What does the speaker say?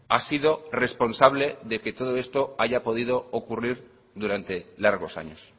ha sido responsable de que todo esto haya podido ocurrir durante largos años